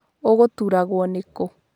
Ũgũturagwũ nĩ kũũ.